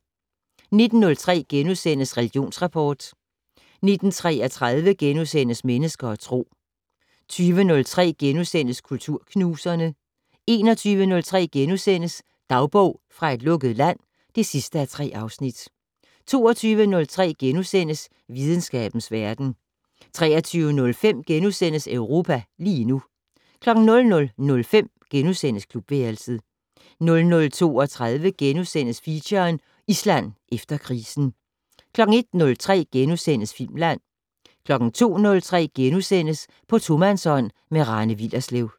19:03: Religionsrapport * 19:33: Mennesker og Tro * 20:03: Kulturknuserne * 21:03: Dagbog fra et lukket land (3:3)* 22:03: Videnskabens verden * 23:05: Europa lige nu * 00:05: Klubværelset * 00:32: Feature: Island efter krisen * 01:03: Filmland * 02:03: På tomandshånd med Rane Willerslev *